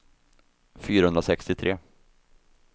fyrahundrasextiotre